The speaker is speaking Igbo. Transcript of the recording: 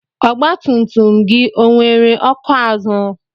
Ọgba tum tum gị ọ nwere ọkụ azụ?